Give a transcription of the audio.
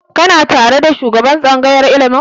Kana tare da shugaban tsangayar ilimi?